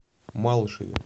малышеве